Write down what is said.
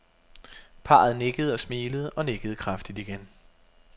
Parret nikkede og smilede og nikkede kraftigt igen.